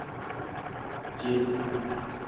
dzhendedzi